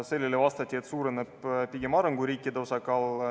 Sellele vastati, et suureneb pigem arenguriikide osakaal.